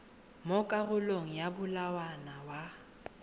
mo karolong ya molawana wa